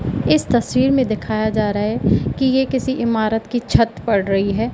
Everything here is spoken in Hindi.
इस तस्वीर में दिखाया जा रहा है कि ये किसी इमारत की छत पड़ रही है।